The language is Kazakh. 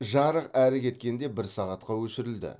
жарық әрі кеткенде бір сағатқа өшірілді